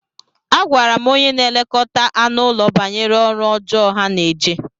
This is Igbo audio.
Agwara m onye na-elekọta anụ ụlọ banyere ọrụ ọjọọ ha na-eje.